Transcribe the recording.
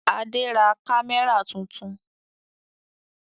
Adé ra kámẹ́rà tuntun.